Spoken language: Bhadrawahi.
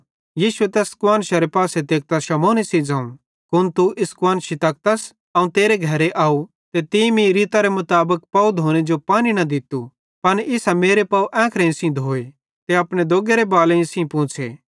यीशु तैस कुआन्शरे पासे तेकतां शमौने ज़ोवं कुन तू इस कुआन्शरां तकतस अवं तेरे घरे अव तीं मीं रीतरे मुताबिक पाव धोने जो पानी न दित्तू पन इसां मेरे पाव एंखेइं सेइं धोए ते अपने दोग्गेरे बालेईं सेइं पौंछ़े